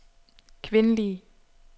kvindelige